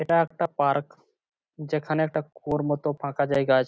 এটা একটা পার্ক যেখানে একটা কুয়োর মতন ফাঁকা জায়গা আছে ।